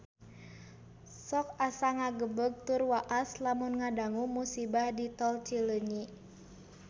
Sok asa ngagebeg tur waas lamun ngadangu musibah di Tol Cileunyi